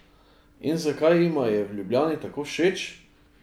In zakaj jima je v Ljubljani tako všeč?